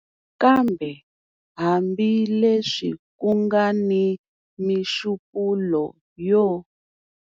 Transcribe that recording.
Kambe hambileswi ku nga ni mixupulo yo.